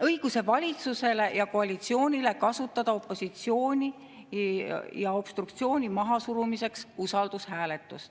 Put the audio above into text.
õiguse valitsusele ja koalitsioonile kasutada opositsiooni ja obstruktsiooni mahasurumiseks usaldushääletust.